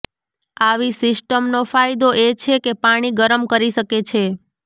આવી સિસ્ટમનો ફાયદો એ છે કે પાણી ગરમ કરી શકે છે